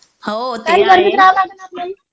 हो ते आहे.